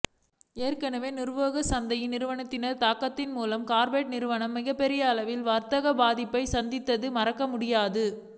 ஏற்கனவே நுகர்வோர் சந்தையில் இந்நிறுவனத்தின் தாக்கத்தின் மூலம் கார்ப்பரேட் நிறுவனங்கள் மிகப்பெரிய அளவிலான வர்த்தக பாதிப்பை சந்தித்தது மறக்கமுடியாது